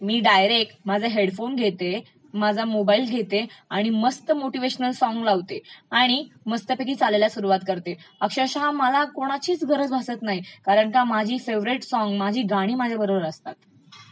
मी direct माझा headphone घेते माझा मोबाइल घेते आणि मस्त मोटीव्हेशन सॉंग लावते, आणि मस्तपैकी चालायला सुरवात करते, अक्षरशः मला कोणाचीच गरज भासतं नाही कारण का माझी फेवरेट सॉंग्स, माझी गाणी माझ्याबरोबर असतात.